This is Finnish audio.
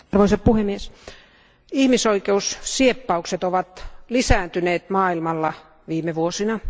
Arvoisa puhemies, ihmisoikeussieppaukset ovat lisääntyneet maailmalla viime vuosina.